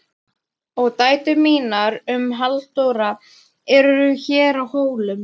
Og dætur mínar og Halldóra eru hér á Hólum.